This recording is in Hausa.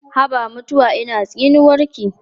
Haba mutuwa ina tsinuwarki?